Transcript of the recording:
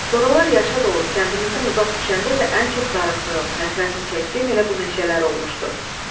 Soralar yaşadıb kəndimizdən uzaq düşəndə də ən çox darıxdığım, həsrətini çəkdiyim elə bu meşələr olmuşdu.